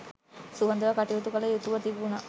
සුහදව කටයුතු කළ යුතුව තිබුණා